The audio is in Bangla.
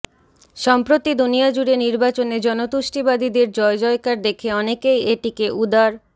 সম্প্রতি দুনিয়াজুড়ে নির্বাচনে জনতুষ্টিবাদীদের জয়জয়কার দেখে অনেকেই এটিকে উদার